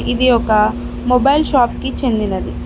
ఇది ఒక mobile shop కి చెందినది.